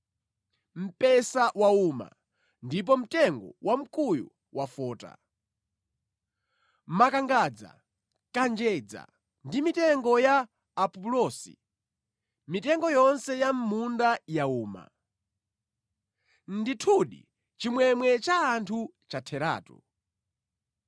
Mpesa wauma ndipo mtengo wamkuyu wafota; makangadza, kanjedza ndi mitengo ya apulosi, mitengo yonse ya mʼmunda yauma. Ndithudi chimwemwe cha anthu chatheratu.